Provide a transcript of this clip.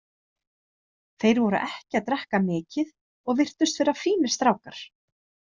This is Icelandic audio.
Þeir voru ekki að drekka mikið og virtust vera fínir strákar.